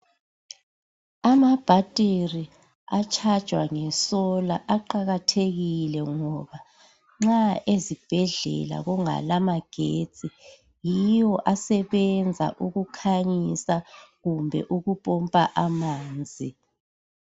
Amabhathiri atshajwa ngesolar aqakathekile ngoba nxa ezibhedlela kungala magetsi yiwo asebenza ukukhanyisa kumbe ukupompa amanzi.